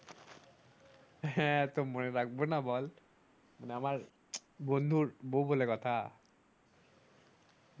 হ্যাঁ তো মনে রাখবোনা বল মানে আমার বন্ধুর বউ বলে কথা